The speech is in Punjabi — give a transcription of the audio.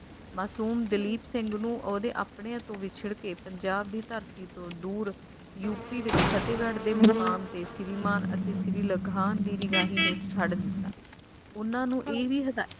ਮਸੂਮ ਦਲੀਪ ਸਿੰਘ ਨੂੰ ਓਹਦੇ ਆਪਣਿਆਂ ਤੋਂ ਵਿਛੜ ਕੇ ਪੰਜਾਬ ਦੀ ਧਰਤੀ ਤੋਂ ਦੂਰ UP ਵਿੱਚ ਫਤਹਿਗੜ੍ਹ ਦੇ ਮੁਕਾਮ ਤੇ ਸ਼੍ਰੀ ਮਾਨ ਅਤੇ ਸ਼੍ਰੀ ਲਗਾਨ ਦੀ ਨਿਗਾਹ ਹੇਠ ਛੱਡ ਦਿੱਤਾ ਉਹਨਾਂ ਨੂੰ ਇਹ ਵੀ ਹਿਦਾਇ